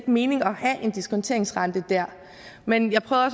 mening at have en diskonteringsrente der men jeg prøvede